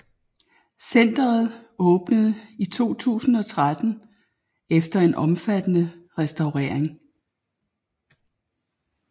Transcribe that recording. Centeret åbnede i 2013 efter en omfattende restaurering